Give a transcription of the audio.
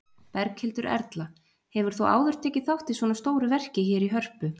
Berghildur Erla: Hefur þú áður tekið þátt í svona stóru verki hér í Hörpu?